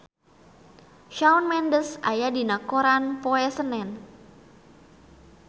Shawn Mendes aya dina koran poe Senen